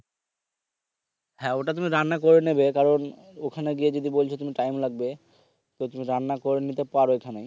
হ্যাঁ ওটা তুমি রান্না করে নেবে কারণ ওখানে গিয়ে যদি বলছে time লাগবে তো তুমি রান্না করে নিতে পারো এখানে